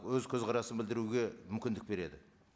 өз көзқарасын білдіруге мүмкіндік береді